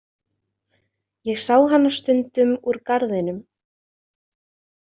Ég sá hana stundum úr garðinum.